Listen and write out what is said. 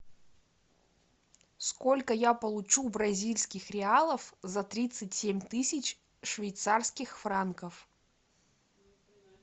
сколько я получу бразильских реалов за тридцать семь тысяч швейцарских франков